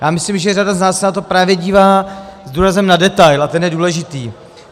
Já myslím, že řada z nás se na to právě dívá s důrazem na detail a ten je důležitý.